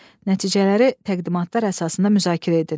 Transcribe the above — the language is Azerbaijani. Nəticələri təqdimatlar əsasında müzakirə edin.